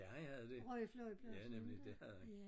Ja han havde det ja nemlig det havde han